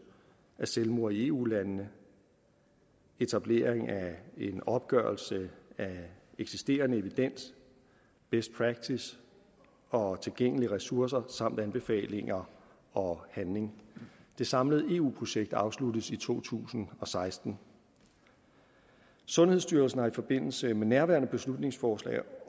af selvmord i eu landene etablering af en opgørelse af eksisterende evidens best practice og tilgængelige ressourcer samt anbefalinger og handling det samlede eu projekt afsluttes i to tusind og seksten sundhedsstyrelsen har i forbindelse med nærværende beslutningsforslag